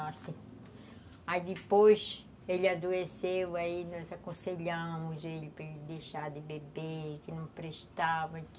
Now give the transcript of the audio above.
Aí depois ele adoeceu, aí nós aconselhamos ele para ele deixar de beber, que não prestava.